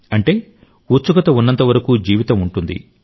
అంటే ఉత్సుకత ఉన్నంతవరకు జీవితం ఉంటుంది